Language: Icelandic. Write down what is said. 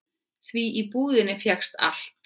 Því í búðinni fékkst allt.